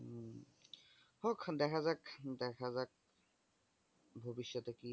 হম হোক দেখা যাক দেখা যাক ভবিষ্যতে কি হয় ।